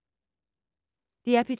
DR P3